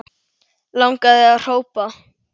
Langaði að hrópa